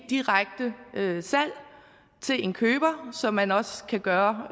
direkte salg til en køber som man også kan gøre